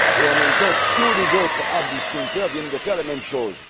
Et, en même temps, tous les autres hard discounters viennent de faire la même chose.